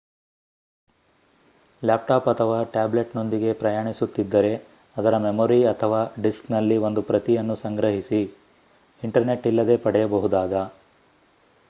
laptop ಅಥವಾ ಟ್ಯಾಬ್ಲೆಟ್‌ನೊಂದಿಗೆ ಪ್ರಯಾಣಿಸುತ್ತಿದ್ದರೆ ಅದರ ಮೆಮೊರಿ ಅಥವಾ ಡಿಸ್ಕ್‌ನಲ್ಲಿ ಒಂದು ಪ್ರತಿಯನ್ನು ಸಂಗ್ರಹಿಸಿ ಇಂಟರ್ನೆಟ್‌ ಇಲ್ಲದೇ ಪಡೆಯಬಹುದಾದ